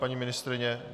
Paní ministryně?